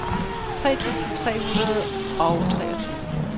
tre tusind tre hundrede og treogtyve